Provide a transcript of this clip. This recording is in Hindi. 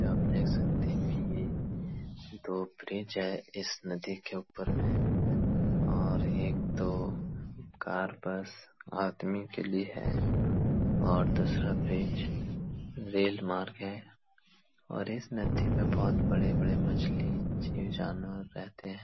यहाँ आप देख सकते हैं कि दो ब्रिज हैं। इस नदी के ऊपर में और एक तो कार बस आदमी के लिए है और दूसरा ब्रिज रेल मार्ग है और इस नदी में बोहोत बड़े-बड़े मछली जीव-जानवर रहते हैं।